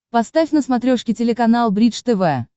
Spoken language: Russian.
поставь на смотрешке телеканал бридж тв